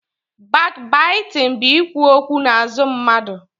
Bakbaitịn bụ ikwu okwu n'azụ mmadụ